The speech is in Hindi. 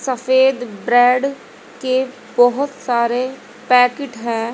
सफेद ब्रेड के बहोत सारे पैकिट हैं।